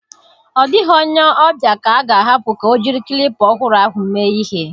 Ọ dịghị onye ọbịa ka a ga-ahapụ ka o jiri klipa ọhụrụ ahụ mee ihe.